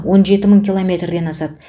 он жеті мың километрден асады